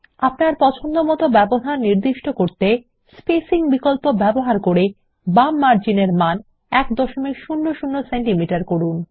আপনার পছন্দমতো ব্যবধান নির্দিষ্ট করতে বাম মার্জিন -এর মান 100সিএম করুন